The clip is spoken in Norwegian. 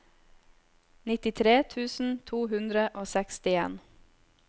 nittitre tusen to hundre og sekstien